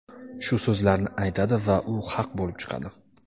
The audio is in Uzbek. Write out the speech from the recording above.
shu so‘zlarni aytadi va u haq bo‘lib chiqadi.